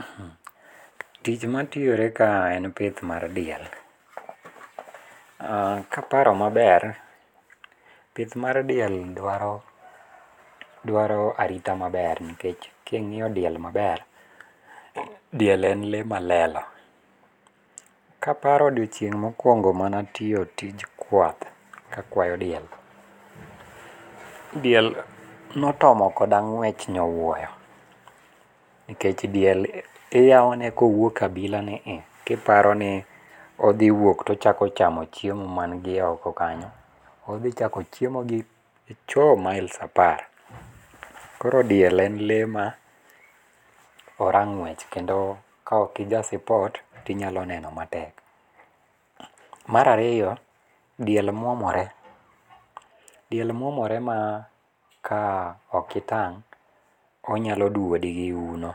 Mhm! Tich matiore ka en pith mar diel. Uh kaparo maber, pith mar diel dwaro arita maber nkech king'io diel maber diel en lee malelo. Kaparo odiochieng' mokwongo manatio tij kwath kakwayo diel, diel notomo koda ng'wech nyowoyo, nkech diel iyaone kowuok abila ni i, kiparo ni odhi wuok to ochako chamo chiemo mangi oko kanyo, odhi chako chiemo gi echoo! miles apar. Koro diel en lee ma ora ng'wech, kendo ka okija sipot tinyalo neno matek. Marario, diel mwomore. Diel mwomore ma ka okitang', onyalo dwodi gi uno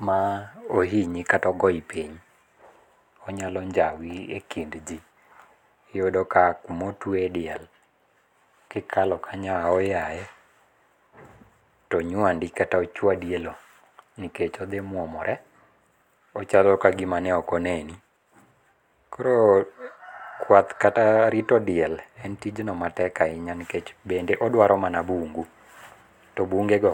ma ohinyi kata ogoi piny, onyalo njawi e kind jii. Iyudo ka kumo twee diel kikalo kanyo aoyae, to nywandi kata ochwadi e lowo, nikech odhi mwomore, ochalo kagima ne okoneni. Koro kwath kata rito diel en tijno matek ahinya nikech bende odwaro mana bungu, to bunge go.